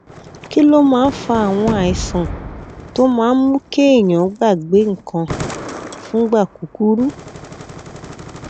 kí ló máa ń fa àwọn àìsàn tó máa ń mú kéèyàn gbàgbé nǹkan fúngbà kúkúrú